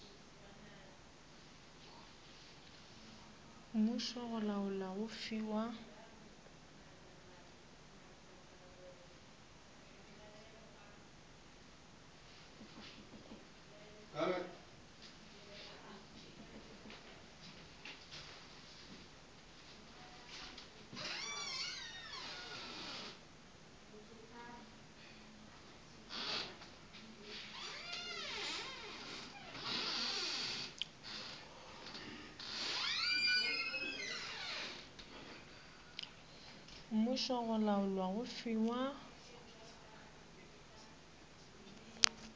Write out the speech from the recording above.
mmušo go laola go fiwa